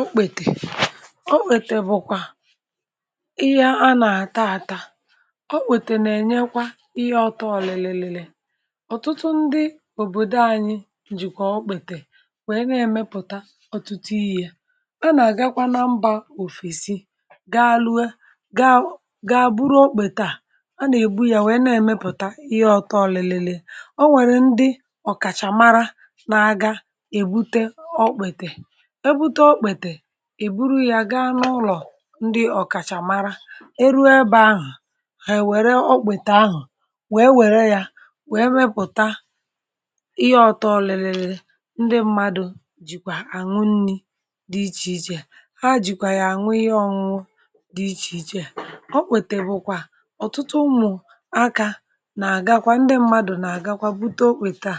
okpètè okpètè bụ̀kwà ihe a nà-àta àta ọ kpètè nà-ènyekwa ihe ọtọ ọ̀lị̀lị̀lị̀lị̀ ọ̀tụtụ ndị òbòdò anyị jìkwà ọ kpètè nwèe na-èmepụ̀ta ọ̀tụtụ yi̇ yȧ a nà-àgakwa na mbȧ òfèsi gaa lue gaa gaa buru okpètaà a nà-èbu yȧ nwèe na-èmepụ̀ta ihe ọ̀tọ ọ̀lị̀lị̀lị̀lị̀ o nwèrè ndị ọ̀kàchàmara na-aga èbute ọkpètè ị bụrụ ya gaa n’ụlọ̀ ndị ọ̀kàchà mara e ru ebe ahụ̀ hà è wère ọkpàtà ahụ̀ wèe wère ya wèe mepụ̀ta ihe ọtọ ọ̀lị̀lị̀lị̀ ndị mmadụ̇ jìkwà àṅụ nni̇ dị ichèichè ha jìkwà yà àṅụ ihe ọṅụṅụ dị ichèichè ọkpàtè bụ̀kwà ọ̀tụtụ ụmụ̀ akȧ nà-àgakwa ndị mmadụ̀ nà-àgakwa bute okpètaa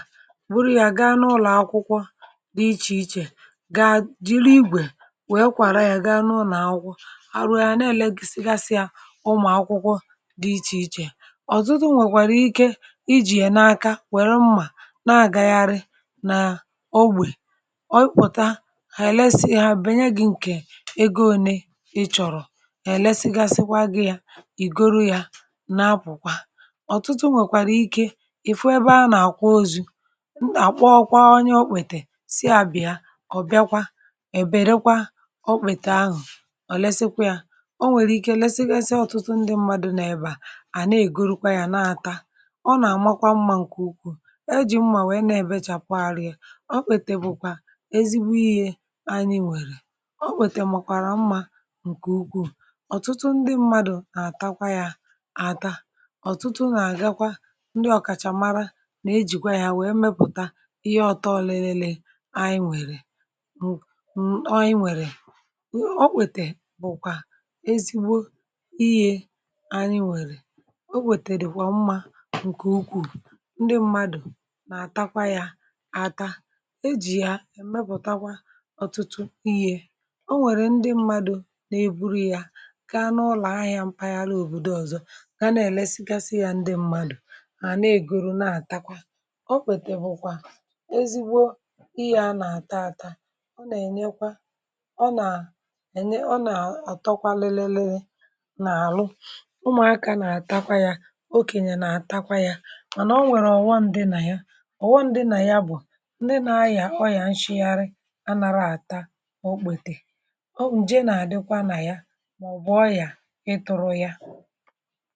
bụrụ ya gaa n’ụlọ̀ akwụkwọ dị ichèichè wee kwàra yȧ gaa nụụ nà akwụ ahụhȧ na-èlegi si gasịa ụmụ̀ akwụkwọ dị ichè ichè ọ̀tụtụ nwèkwàrà ike ijì yà n’aka wère mmà na-àgagharị n’ogbè ọbịpụ̀ta hà èlesighi bè nye gị̇ ǹkè ego ȯne ị chọ̀rọ̀ hà èlesighi gị̇ ya ì goro yȧ na-apụ̀kwa ọ̀tụtụ nwèkwàrà ike ìfu ebe a nà-àkwa ozu̇ àkpọ ọkwa onye okwètè si a bìa ọ̀ bịakwa ọ̀lesikwa ya o nwèrè ike lesịa ọ̀tụtụ ndị mmadụ̇ nà-ebà à na-ègurukwa yȧ na-ata ọ nà-àmakwa mmȧ ǹkè ukwuù ejì mmà wèe na-ebėchàpụgharịa ọ pètè bụ̀kwà ezigbo ihė anyi̇ nwèrè ọ wète màkwàrà mmȧ ǹkè ukwuu ọ̀tụtụ ndị mmadụ̀ nà-àtakwa ya àta ọ̀tụtụ nà-àgakwa ndị ọ̀kàchàmara nà-ejìkwa ya wèe mepùta ihe ọ̇tọọ̇ ọ̀lịlịlị anyi nwèrè ọ kwètè bụ̀kwà ezigbo iyė anyị nwèrè o wètèdè kwà mmȧ ǹkè ukwù ndị mmadụ̀ nà-àtakwa yȧ aka ejì ya èmepùtakwa ọ̀tụtụ iyė o nwèrè ndị mmadụ̇ nà-èburu yȧ ka n’ụlọ̀ ahị̇ȧ mpaghara òbòdo ọ̀zọ ka na-èlesigasị ya ndị mmadụ̀ hà na-ègoro na-àtakwa o kwètè bụ̇kwà ezigbo ihe a nà-àta àta ọ nà ànyị ọ nà àtọkwa lelee leė nà àrụ ụmụ̀akȧ nà àtakwa yȧ okènyè nà àtakwa yȧ mànà ọ nwèrè ọ̀ghọm dị nà ya ọ̀ghọm dị nà ya bụ̀ ndị nȧ ayà kwa yȧ nshịgarị anȧra àta ọ kpètè ọ nje nà àdịkwa nà ya mà ọ̀bụ̀ ọ yà ịtụ̇rụ ya